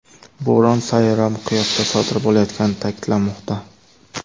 Bo‘ron sayyora miqyosida sodir bo‘layotgani ta’kidlanmoqda.